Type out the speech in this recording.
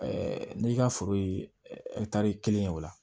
n'i ka foro ye kelen ye o la